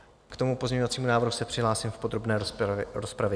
K tomu pozměňovacímu návrhu se přihlásím v podrobné rozpravě.